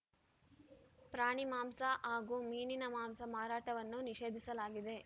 ಪ್ರಾಣಿ ಮಾಂಸ ಹಾಗೂ ಮೀನಿನ ಮಾಂಸ ಮಾರಾಟವನ್ನು ನಿಷೇಧಿಸಲಾಗಿದೆ